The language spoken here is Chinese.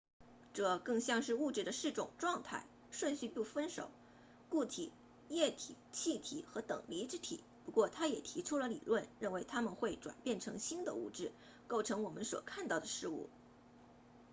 这更像是物质的四种状态顺序不分手固体液体气体和等离子体不过他也提出了理论认为它们会转变成新的物质构成我们所看到的事物